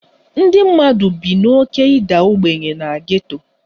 Ndị mmadụ bi n'oké ịda ogbenye na geto